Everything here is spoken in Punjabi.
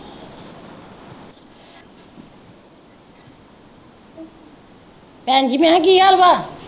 ਭੈਣਜੀ ਮੈਂ ਕਿਹਾ ਕੀ ਹਾਲ ਵਾ?